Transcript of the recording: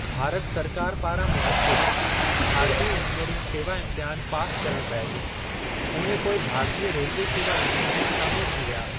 भारत सरकार पारां मुनक़िदु भारतीय इंजीनियरिंग सेवा इम्तिहान पास करणु बैदि, उहे पोइ भारतीय रेलवे सेवा इंजीनियर में शामिलु थी विया।